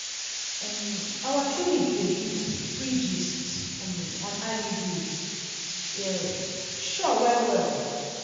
um our clinic dey give free gist um on iuds e um sure well well!